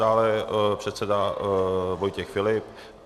Dále předseda Vojtěch Filip.